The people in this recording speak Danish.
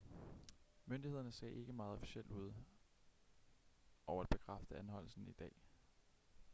myndighederne sagde ikke meget officielt ud over at bekræfte anholdelsen i dag